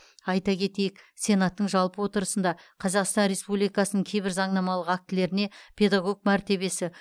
айта кетейік сенаттың жалпы отырысында қазақстан республикасының кейбір заңнамалық актілеріне педагог мәртебесі